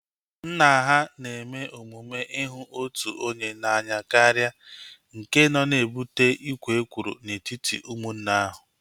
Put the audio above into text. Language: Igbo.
Nna ha na-eme omume ihu otu onye n'anya karịa nke nọ na-ebute ikwo ekworo n'etiti ụmụnne ahu